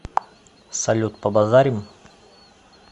салют побазарим